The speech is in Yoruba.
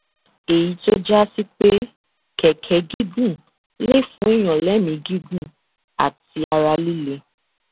èyí tó já sí pé kẹkẹ gígùn lè fún èèyàn lémi gígùn àti ara líle